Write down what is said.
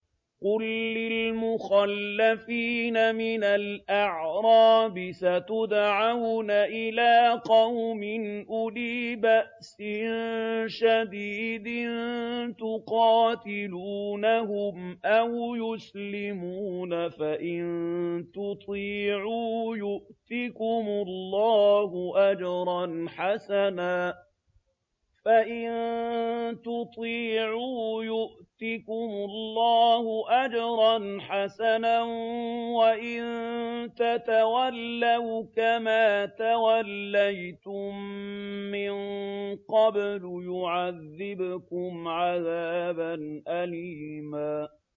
قُل لِّلْمُخَلَّفِينَ مِنَ الْأَعْرَابِ سَتُدْعَوْنَ إِلَىٰ قَوْمٍ أُولِي بَأْسٍ شَدِيدٍ تُقَاتِلُونَهُمْ أَوْ يُسْلِمُونَ ۖ فَإِن تُطِيعُوا يُؤْتِكُمُ اللَّهُ أَجْرًا حَسَنًا ۖ وَإِن تَتَوَلَّوْا كَمَا تَوَلَّيْتُم مِّن قَبْلُ يُعَذِّبْكُمْ عَذَابًا أَلِيمًا